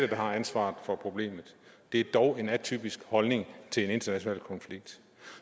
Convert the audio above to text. har ansvaret for problemet det er dog en atypisk holdning at til en international konflikt